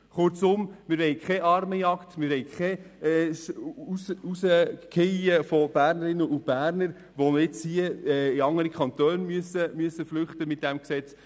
Kurzum: Wir wollen keine Armenjagd, wir wollen kein Herausfallen von Bernerinnen und Bernern, die durch dieses Gesetz jetzt in andere Kantone flüchten müssen.